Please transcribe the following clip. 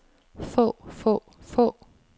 få få få